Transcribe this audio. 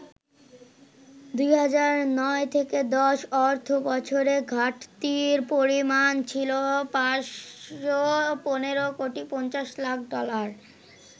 ২০০৯-১০ অর্থবছরে ঘাটতির পরিমাণ ছিল ৫১৫ কোটি ৫০ লাখ ডলার।